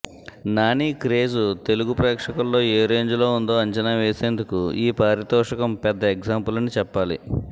నానీ craze Telugu ప్రేక్షకుల్లో ఏ రేంజులో ఉందో అంచనా వేసేందుకు ఈ పారితోషికం పెద్ద ఎగ్జాంపుల్ అని చెప్పాలి